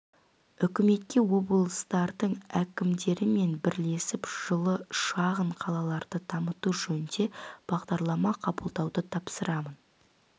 үкіметке облыстардың әкімдерімен бірлесіп жылы шағын қалаларды дамыту жөнінде бағдарлама қабылдауды тапсырамын